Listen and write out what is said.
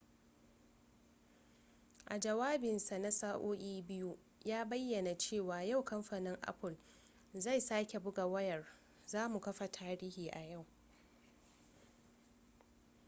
a jawabinsa na sa'o'i 2 ya bayyana cewa yau kamfanin apple zai sake buga wayar za mu kafa tarihi a yau